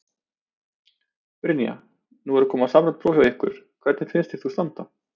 Brynja: Nú eru að koma samræmd próf hjá ykkur, hvernig finnst þér þú standa?